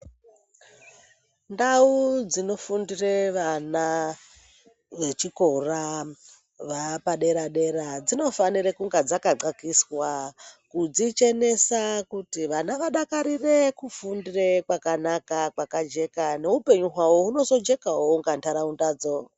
Ndau dzinofundira vana vechikora vaapadera-dera dzinofanira kunge dzakaxakiswa kudzichenesa kuti vana vadakarire kufundira pakanaka, pakajeka neupenyu hwavo hunozojekawo unga nharaunda dzo.